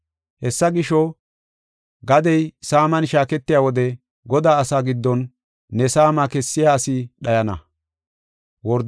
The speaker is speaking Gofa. Hessa gisho, gadey saaman shaaketiya wode Godaa asaa giddon ne saama kessiya asi dhayana.